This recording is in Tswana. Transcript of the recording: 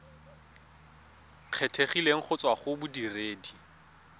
kgethegileng go tswa go bodiredi